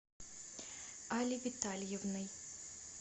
али витальевной